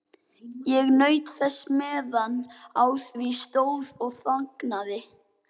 Ég naut þess meðan á því stóð og þagnaði.